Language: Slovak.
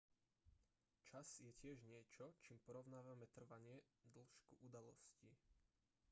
čas je tiež niečo čím porovnávame trvanie dĺžku udalostí